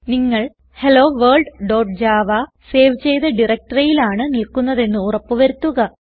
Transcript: നിങ്ങൾ helloworldജാവ സേവ് ചെയ്ത directoryയിലാണ് നിൽക്കുന്നതെന്ന് ഉറപ്പ് വരുത്തുക